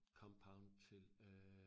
Compound til øh